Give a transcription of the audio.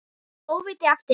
Lágu óvígir eftir.